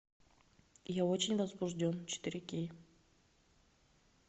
я очень возбужден четыре кей